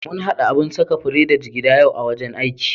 Mun haɗa abun saka fure da jigida yau a wajen aiki.